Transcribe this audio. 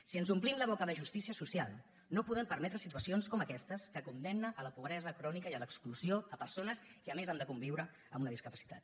si ens omplim la boca de justícia social no podem permetre situacions com aquestes que condemnen a la pobresa crònica i l’exclusió persones que a més han de conviure amb una discapacitat